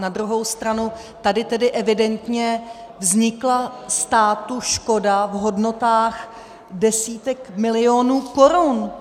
Na druhou stranu tady tedy evidentně vznikla státu škoda v hodnotách desítek milionů korun.